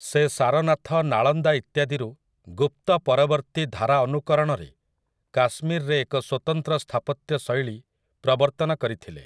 ସେ ସାରନାଥ, ନାଳନ୍ଦା ଇତ୍ୟାଦିରୁ ଗୁପ୍ତ ପରବର୍ତ୍ତୀ ଧାରା ଅନୁକରଣରେ କାଶ୍ମୀରରେ ଏକ ସ୍ୱତନ୍ତ୍ର ସ୍ଥାପତ୍ୟ ଶୈଳୀ ପ୍ରବର୍ତ୍ତନ କରିଥିଲେ ।